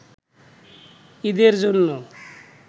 ঈদের জন্য